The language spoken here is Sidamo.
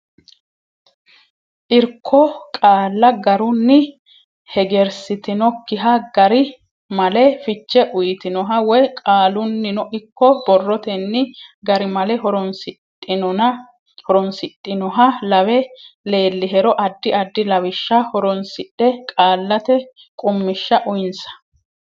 Irko qaalla garunni hegersitinokkiha gari male fiche uytinoha woy qaalunnino ikko borrotenni garimale horonsidhinoha lawe leellihero addi addi lawishsha horonsidhe qaallate qummishsha uynsa.